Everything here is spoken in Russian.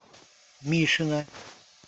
мишина